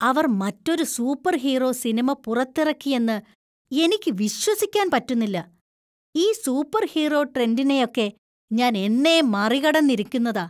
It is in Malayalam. അവർ മറ്റൊരു സൂപ്പർഹീറോ സിനിമ പുറത്തിറക്കിയെന്ന് എനിക്ക് വിശ്വസിക്കാൻ പറ്റുന്നില്ല . ഈ സൂപ്പർഹീറോ ട്രെൻഡിനെയൊക്കെ ഞാൻ എന്നേ മറികടന്നിരിക്കുന്നതാ